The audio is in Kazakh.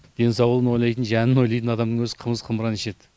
денсаулығын ойлайтын жанын ойлайтын адамның өзі қымыз қымыран ішеді